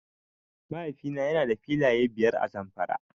Mahaifi na yana da filaye biyar a Zamfara.